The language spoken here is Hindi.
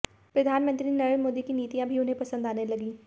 प्रधानमंत्री नरेंद्र मोदी की नीतियां भी उन्हें पंसद आने लगी